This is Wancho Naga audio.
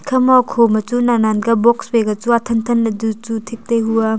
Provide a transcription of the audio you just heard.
khama khoma chu nan nan ka box phai ka chu athan than ley chu chu thik taihu aa.